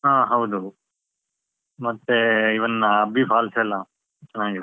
ಹಾ ಹೌದು. ಮತ್ತೆ even ಅಬ್ಬಿ falls ಎಲ್ಲ ಚನ್ನಾಗಿದೆ.